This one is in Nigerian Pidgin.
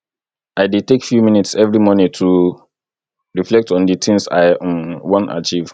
i dey take few minutes every morning to reflect on di tins i um wan achieve